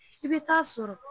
I bɛ t'a sɔrɔ